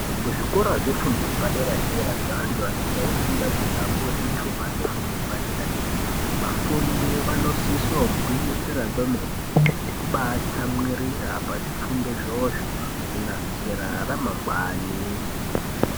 Kuzvikora zvefundo yepadera dera zvevantu vanenge eifunda kuti apihwe zvitupa zvifundo yepadera dera vafundi vanosise kugwinyisira kwemene nekubaa tsamwirira pazvifundo izvoozvo kunasira ramangwani.